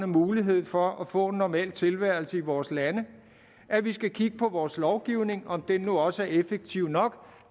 mulighed for at få en normal tilværelse i vores lande at vi skal kigge på vores lovgivning om den nu også er effektiv nok